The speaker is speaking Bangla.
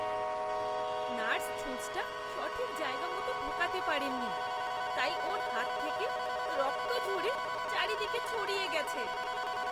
নার্স ছুঁচটা সঠিক জায়গামতো ঢোকাতে পারেননি, তাই ওঁর হাত থেকে রক্ত ঝরে চারদিকে ছড়িয়ে গেছে।